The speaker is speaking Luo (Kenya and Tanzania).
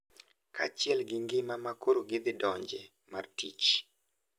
Kaachiel gi ngima ma koro gidhidonje mar tich.